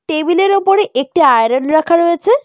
টেবিলের ওপরে একটি আয়রন রাখা রয়েছে।